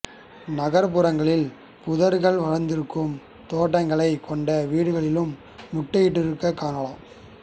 நகர்ப்புறங்களில் புதர்கள் வளர்ந்திருக்கும் தோட்டங்களைக் கொண்ட வீடுகளிலும் முட்டையிட்டிருக்கக் காணலாம்